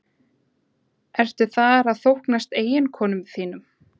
Ertu þar að þóknast eiginkonum þínum?